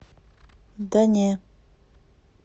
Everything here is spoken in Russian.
да не